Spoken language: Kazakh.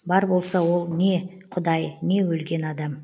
бар болса ол не құдай не өлген адам